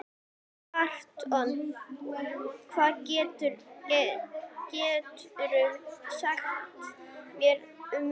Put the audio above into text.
Anton, hvað geturðu sagt mér um veðrið?